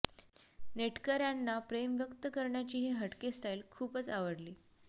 नेटकऱ्यांना प्रेम व्यक्त करण्याची ही हटके स्टाईल खूपच आवडली